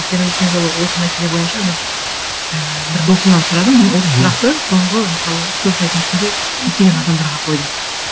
өйткені өткен жолы осы мәселе бойынша біз м бір досымнан сұрадым осы сұрақты соңғы мысалы үш төрт айдың ішінде көптеген адамдарға қойдым